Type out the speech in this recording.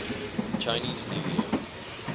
chinese new year